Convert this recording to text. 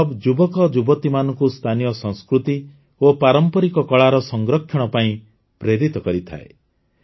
ଏହି କ୍ଲବ ଯୁବକଯୁବତୀମାନଙ୍କୁ ସ୍ଥାନୀୟ ସଂସ୍କୃତି ଓ ପାରମ୍ପରିକ କଳାର ସଂରକ୍ଷଣ ପାଇଁ ପ୍ରେରିତ କରିଥାଏ